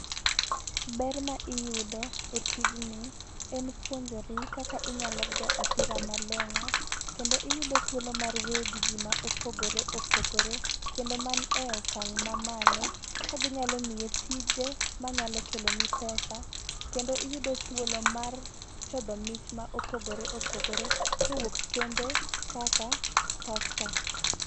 Ber ma iyudo e tijni, en puonjori kaka inyalo goyo opira malong'o ,kendo iyudo thuolo mar wuoyo gi ji ma opogoreopogore, kendo man e okang' ma malo, ka ginyalo miyi tije manyalpo keloni pesa, kendo iyudo thuolo mar chodho mich ma opogore opogore, kowuok kembe kaka tusker.